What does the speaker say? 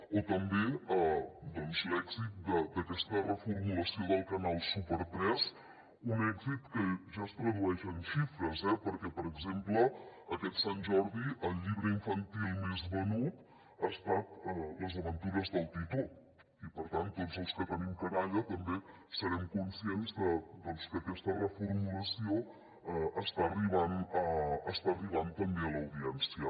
o també doncs l’èxit d’aquesta reformulació del canal super3 un èxit que ja es tradueix en xifres eh perquè per exemple aquest sant jordi el llibre infantil més venut ha estat les aventures del titó i per tant tots els que tenim canalla també serem conscients que aquesta reformulació està arribant també a l’audiència